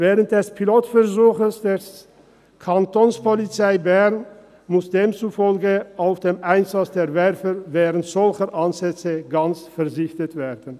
Während des Pilotversuchs der Kapo muss demzufolge auf den Einsatz der Werfer während solcher Anlässe gänzlich verzichtet werden.